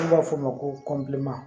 N'u b'a f'o ma ko kɔnti